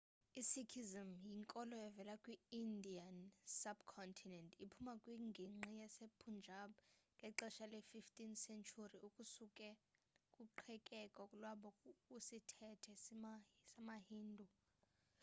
i-sikhism yinkolo evela kwi-indian sub-continent iphuma kwingingqi yasepunjab ngexehsa le-15 sentyhuri ukusuka kuqhekeko lwabo kwisithethe samahindu